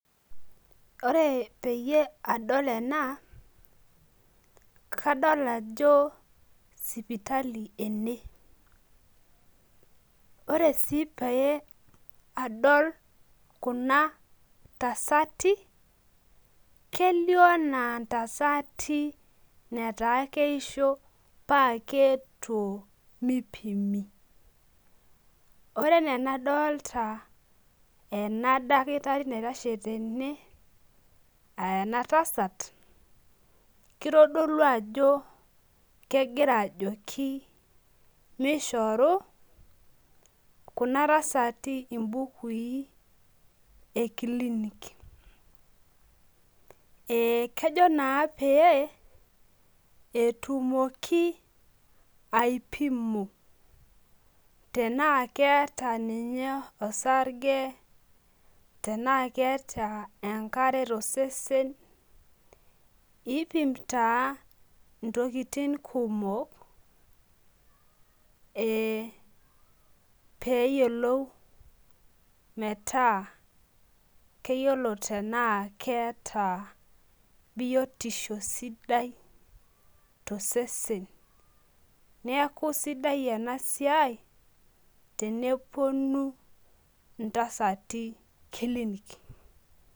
ore peyie adol ena kadol ajo sipitali ena ore sii pee adol kuna tasati kelio enaa inataa keisho paa keetuo mipimi, ore enaa enadolta ena daki tari naitashe tene aa ena tasat kitodolu ajo kegira ajoki mishori kuna tasati ibukui ekilinik, ee kejo naa pee etumoki aipimo tenaa keeta ninye osrge, tenaa keeta enkare tosesen, iipim taa intokitin kumok ee pee eyiolou, metaa keyiolo tenaa keeta biotisho sidai tosesen neeku isidai enasai tenepuonu intasati kilinik.